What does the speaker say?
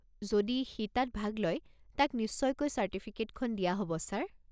যদি সি তাত ভাগ লয়, তাক নিশ্চয়কৈ চাৰ্টিফিকেটখন দিয়া হ'ব ছাৰ।